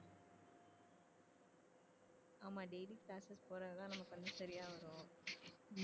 ஆமா daily classes போறதுதான் நமக்கு வந்து சரியா வரும்